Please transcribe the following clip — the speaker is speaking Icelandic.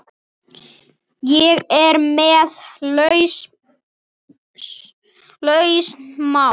Ég er með lausn mála!